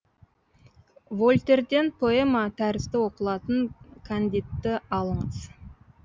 вольтерден поэма тәрізді оқылатын кандидті алыңыз